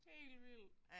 Helt vildt